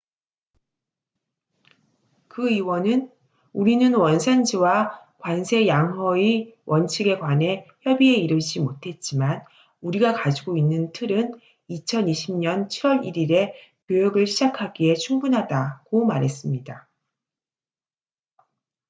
"그 위원은 "우리는 원산지와 관세양허의 원칙에 관해 협의에 이르지 못했지만 우리가 가지고 있는 틀은 2020년 7월 1일에 교역을 시작하기에 충분하다""고 말했습니다.